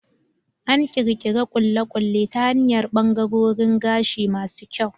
An ƙirƙiri ƙulle-ƙulle ta hanyar ɓangarorin gashi masu kyauta.